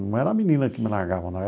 Não era a menina que me largava, não.